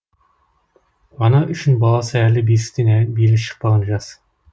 ана үшін баласы әлі бесіктен белі шықпаған жас